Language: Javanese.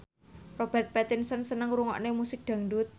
Robert Pattinson seneng ngrungokne musik dangdut